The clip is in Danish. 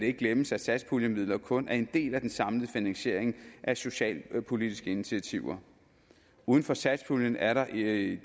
ikke glemmes at satspuljemidlerne kun er en del af den samlede finansiering af socialpolitiske initiativer uden for satspuljen er der i